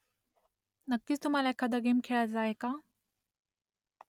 नक्कीच तुम्हाला एखादा गेम खेळायचा आहे का ?